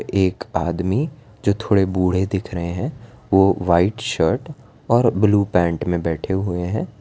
एक आदमी जो थोड़े बूढ़े दिख रहे हैं वह वाइट शर्ट और ब्लू पेंट में बैठे हुए हैं।